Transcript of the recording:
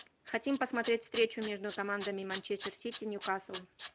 хотим посмотреть встречу между командами манчестер сити ньюкасл